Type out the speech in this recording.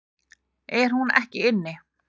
Er hún ekki inni?